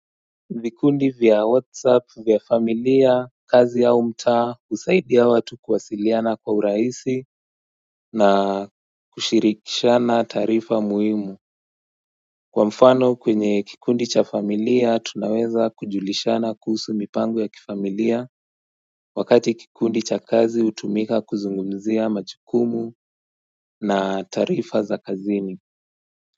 Vikundi vya whatsapp vya familia kazi yao mta husaidia watu kuwasiliana kwa uraisi na kushirikishana taarifa muhimu Kwa mfano kwenye kikundi cha familia tunaweza kujulishana kuhusu mipango ya kifamilia wakati kikundi cha kazi utumika kuzungumzia majukumu na taarifa za kazini.